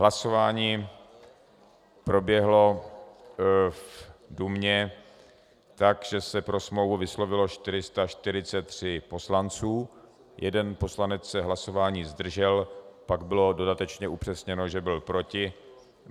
Hlasování proběhlo v Dumě tak, že se pro smlouvu vyslovilo 443 poslanců, jeden poslanec se hlasování zdržel, pak bylo dodatečně upřesněno, že byl proti.